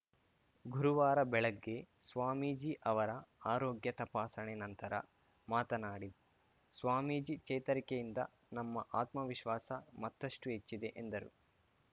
ಗುರುವಾರ ಬೆಳಗ್ಗೆ ಸ್ವಾಮೀಜಿ ಅವರ ಆರೋಗ್ಯ ತಪಾಸಣೆ ನಂತರ ಮಾತನಾಡಿ ಸ್ವಾಮೀಜಿ ಚೇತರಿಕೆಯಿಂದ ನಮ್ಮ ಆತ್ಮವಿಶ್ವಾಸ ಮತ್ತಷ್ಟುಹೆಚ್ಚಿದೆ ಎಂದರು